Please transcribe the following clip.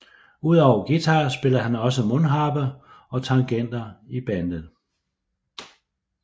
Udover guitar spiller han også mundharpe og tangenter i bandet